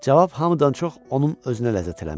Cavab hamıdan çox onun özünə ləzzət eləmişdi.